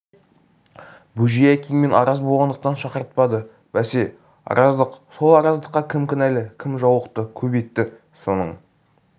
бөжей әкеңмен араз болғандықтан шақыртпады бәсе араздық сол араздыққа кім кінәлі кім жаулықты көп етті соның